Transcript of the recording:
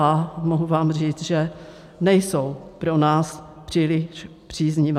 A mohu vám říct, že nejsou pro nás příliš příznivá.